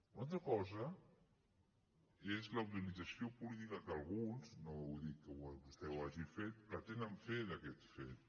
una altra cosa és la utilització política que alguns no dic que vostè ho hagi fet pretenen fer d’aquest fet